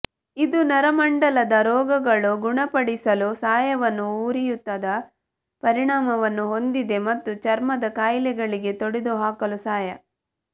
ಇದು ನರಮಂಡಲದ ರೋಗಗಳು ಗುಣಪಡಿಸಲು ಸಹಾಯವನ್ನು ಉರಿಯೂತದ ಪರಿಣಾಮವನ್ನು ಹೊಂದಿದೆ ಮತ್ತು ಚರ್ಮದ ಕಾಯಿಲೆಗಳಿಗೆ ತೊಡೆದುಹಾಕಲು ಸಹಾಯ